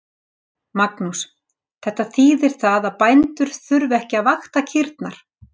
Magnús: Þetta þýðir það að bændur þurfa ekki að vakta kýrnar?